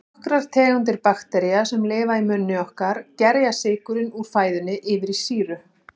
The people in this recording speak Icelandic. Nokkrar tegundir baktería, sem lifa í munni okkar, gerja sykurinn úr fæðunni yfir í sýru.